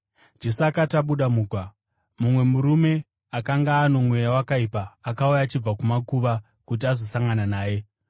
Jesu akati abuda mugwa, mumwe murume akanga ano mweya wakaipa akauya achibva kumakuva kuti azosangana naye.